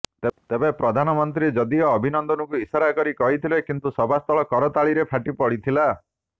ତେବେ ପ୍ରଧାନମନ୍ତ୍ରୀ ଯଦିଓ ଅଭିନନ୍ଦନଙ୍କୁ ଇଶାରା କରି କହିଥିଲେ କିନ୍ତୁ ସଭାସ୍ଥଳ କରାତାଳିରେ ଫାଟି ପଡ଼ିଥିଲା